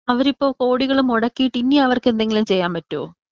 അവരിപ്പോ കോടികൾ മുടക്കിയിട്ട് ഇനി അവർക്ക് എന്തെങ്കിലും ചെയ്യാൻ പറ്റോ?